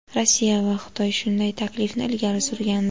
Rossiya va Xitoy shunday taklifni ilgari surgandi.